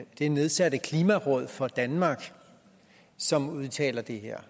det nedsatte klimaområd for danmark som udtaler det her